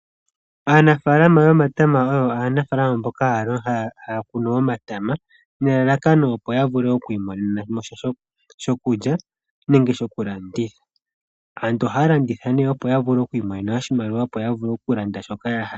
Aanafaalama yomatama oyo aanafaalama mboka haya kunu omatama, nelalakano opo ya vule okwi imonena mo sha shokulya nenge shokulanditha. Aantu ohaa landitha nee opo ya vule okwimonena oshimaliwa opo ya vule okulanda shoka ya hala.